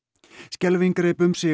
skelfing greip um sig